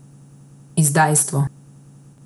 Izdajstvo.